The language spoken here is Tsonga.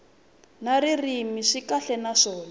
na ririmi swi kahle naswona